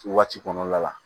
Waati kɔnɔna la